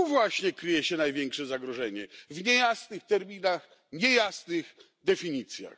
Tu właśnie kryje się największe zagrożenie w niejasnych terminach i definicjach.